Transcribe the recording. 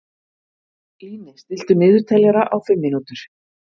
Líni, stilltu niðurteljara á fimm mínútur.